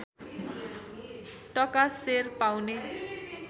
टका सेर पाउने